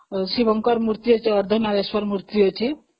ଶିବଙ୍କର ମୂର୍ତ୍ତି ଅଛି ଯୋଉ ଅର୍ଦ୍ଧ ନାରେଶ୍ଵର ମୂର୍ତ୍ତି ଅଛି